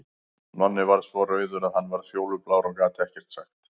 Nonni varð svo rauður að hann varð fjólublár og gat ekkert sagt.